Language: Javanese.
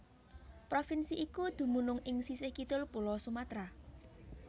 Provinsi iku dumunung ing sisih kidul Pulo Sumatra